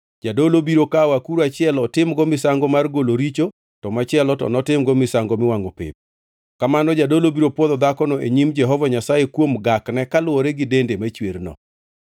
Jadolo biro kawo akuru achiel otimgo misango mar golo richo to machielo to otimgo misango miwangʼo pep. Kamano jadolo biro pwodho dhakono e nyim Jehova Nyasaye kuom gakne kaluwore gi dende machwerno.